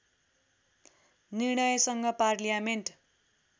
निर्णयसँग parliament